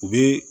U bɛ